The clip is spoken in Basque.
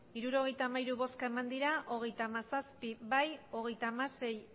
hirurogeita hamairu bai hogeita hamazazpi ez hogeita hamasei